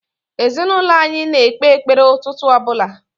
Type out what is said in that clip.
Ezinaụlọ anyị na-ekpe ekpere ụtụtụ ọ bụla.